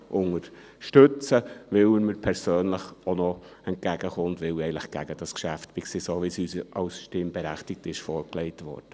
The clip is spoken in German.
Er kommt mir persönlich auch noch entgegen, weil ich gegen dieses Geschäft bin, so wie es uns als Stimmberechtigte vorgelegt wurde.